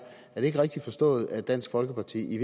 rigtigt forstået at dansk folkeparti i